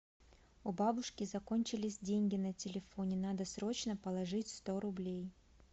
у бабушки закончились деньги на телефоне надо срочно положить сто рублей